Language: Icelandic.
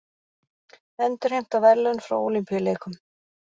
Endurheimta verðlaun frá Ólympíuleikum